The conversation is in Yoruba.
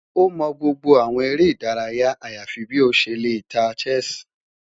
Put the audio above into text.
O mọ gbogbo awọn ere idaraya ayafi bi o ṣe le ta chess